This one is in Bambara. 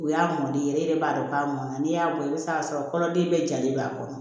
U y'a mɔnden yɛrɛ e yɛrɛ b'a dɔn k'a mɔnna n'i y'a bɔ i bɛ se k'a sɔrɔ kɔnɔden bɛɛ jalen b'a kɔnɔ